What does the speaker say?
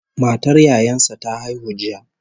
Matar yayan sa ta haihu jiya